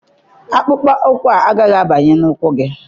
Akpụkpọ ụkwụ a agaghị abanye n'ụkwụ gị